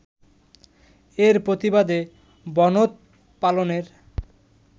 এর প্রতিবাদে বনধ পালনের